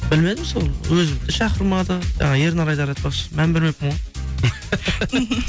білмедім сол өзімді шақырмады жаңағы ернар айдар айтпақшы мән бермеппін ғой